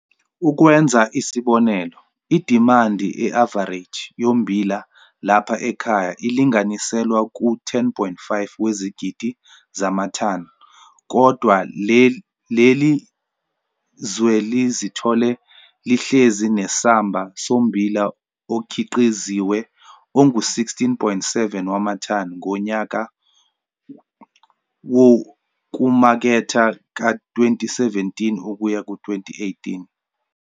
Ukwenza isibonelo, idimandi e-avareji yommbila lapha ekhaya ilinganiselwa ku-10,5 wezigidi zamathani, kodwa leli zwe lizithole lihlezi nesamba sommbila okhiqiziwe ongu-16,7 wamathani ngonyaka wokumaketha ka-2017 ukuyaku 2018.